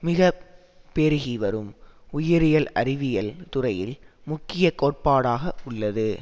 மிக பெருகி வரும் உயிரியல் அறிவியல் துறையில் முக்கிய கோட்பாடாக உள்ளது